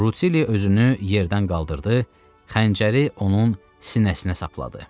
Rutilli özünü yerdən qaldırdı, xəncəri onun sinəsinə sapladı.